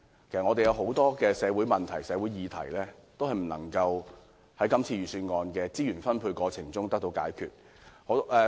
其實，有很多社會問題、社會議題也無法透過今次預算案的資源分配而得到解決。